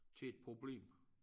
Til et problem